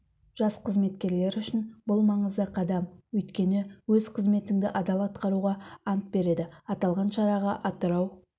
жас қызметкерлер үшін бұл маңызды қадам өйткені өз қызметіңді адал атқаруға ант береді аталған шараға атырау